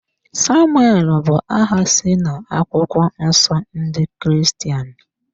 Samuel bụ aha si na akwụkwọ nsọ ndị Kiristian